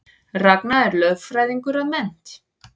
Ragna er lögfræðingur að mennt